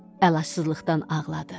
Əlacsızlıqdan ağladı.